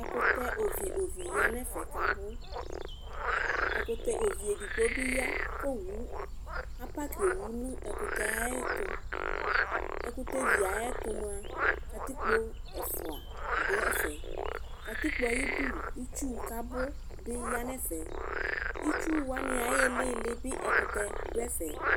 Ɛkʋtɛ ovi ovi yanʋ ɛfɛ kʋ abʋ ɛkʋtɛ ovi edigbo bi ya kʋ akaki owʋ nʋ ɛkʋtɛ ayʋ ɛtʋ ɛkʋtɛvi yɛ ayʋ ɛtʋ mʋa katipko ɛfʋa dʋ ɛfɛ katikpo yɛ ayu idʋ itsʋ kʋ abʋ yanʋ ɛfɛ itsʋ wani ayʋ ililibi ɛkʋtɛ dʋ ɛfe